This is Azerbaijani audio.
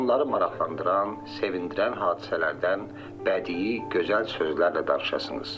Onları maraqlandıran, sevindirən hadisələrdən bədii, gözəl sözlərlə danışasınız.